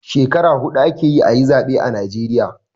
Skekara huɗu ake yi a yi zaɓe a najeriya.